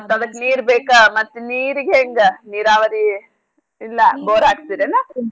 ಅದಕ್ ನೀರ್ ಬೇಕ ಮತ್ತ್ ನೀರಿಗ್ ಹೆಂಗ ನೀರಾವರಿ ಇಲ್ಲಾ ಬೋರ್ ಹಾಕ್ಸಿರೇನೊ?